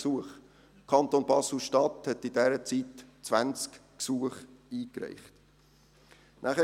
Der Kanton Basel-Stadt reichte in dieser Stadt 20 Gesuche ein.